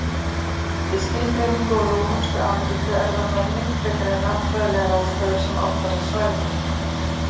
Við skilgreiningu á Rómönsku Ameríku er það menning frekar en landfræðilegar aðstæður sem ákvarðar svæðið.